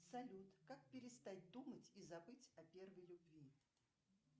салют как перестать думать и забыть о первой любви